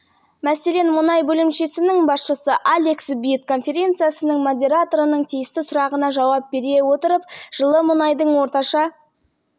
сонымен қатар басшысы иэн тейлор онша оптимист болмады оның орташа баға белгілеу болжамы құрайды бір жыл